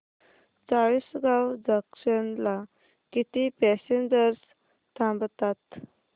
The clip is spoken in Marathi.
चाळीसगाव जंक्शन ला किती पॅसेंजर्स थांबतात